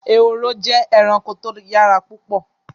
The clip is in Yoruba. Ehoro jẹ́ ẹranko tó yára púpọ̀